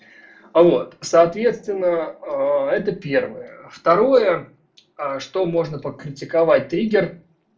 а вот соответственно это первое второе что можно покритиковать триггер